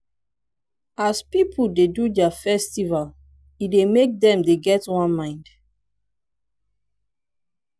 as pipu dey do their festival e dey make dem dey get one mind